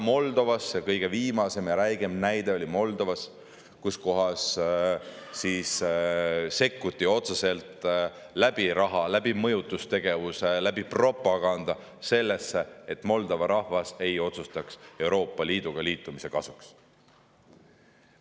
Kõige viimane ja kõige räigem näide oli Moldovas, kus sekkuti otseselt raha, mõjutustegevuse ja propagandaga selleks, et Moldova rahvas ei otsustaks Euroopa Liiduga liitumise kasuks.